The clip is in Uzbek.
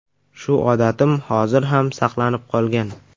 Shu odatim hozir ham saqlanib qolgan.